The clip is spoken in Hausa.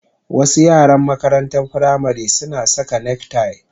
Wasu yaran makarantar firamare suna saka neck tie